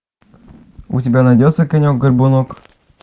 у тебя найдется конек горбунок